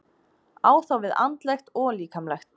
Á þá við andlegt og líkamlegt.